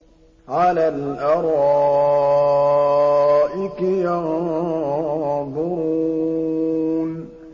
عَلَى الْأَرَائِكِ يَنظُرُونَ